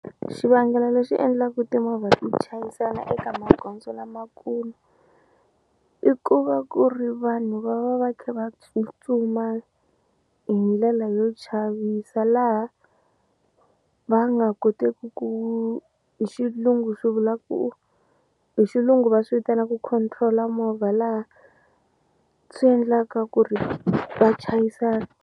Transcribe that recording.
Xivangelo lexi endlaka timovha ti chayisana eka magondzo lamakulu i ku va ku ri vanhu va va va kha va tsutsuma hi ndlela yo chavisa laha va nga koteki ku hi xilungu swi vula ku hi xilungu va swi vitanaka control-a movha laha swi endlaka ku ri va chayisana.